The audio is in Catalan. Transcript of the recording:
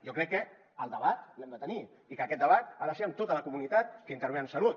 jo crec que el debat l’hem de tenir i que aquest debat ha de ser amb tota la comunitat que intervé en salut